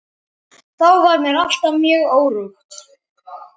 Þá var mér alltaf mjög órótt.